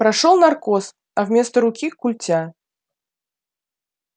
прошёл наркоз а вместо руки культя